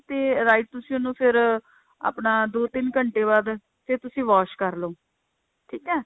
ਤੇ right ਤੁਸੀਂ ਉਹਨੂੰ ਫੇਰ ਆਪਣਾ ਦੋ ਤਿੰਨ ਘੰਟੇ ਬਾਅਦ ਫੇਰ ਤੁਸੀਂ wash ਕਰ ਲੋ ਠੀਕ ਹੈ